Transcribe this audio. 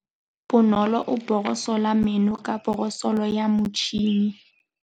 Bonolô o borosola meno ka borosolo ya motšhine.